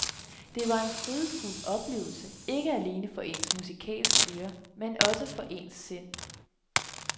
Det var en frydefuld oplevelse, ikke alene for ens musikalske øre, men også for ens sind.